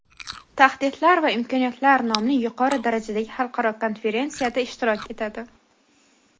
Tahdidlar va imkoniyatlar nomli yuqori darajadagi xalqaro konferensiyada ishtirok etadi.